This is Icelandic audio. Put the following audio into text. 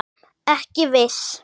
Ekki viss